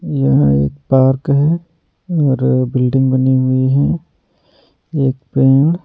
यहाँ एक पार्क है और बिल्डिंग बनी हुई है एक पेड़-----